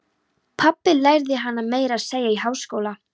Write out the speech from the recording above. Pabbi lærði hana meira að segja í háskóla.